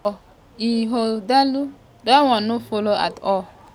for ighodalo dat one no follow at all.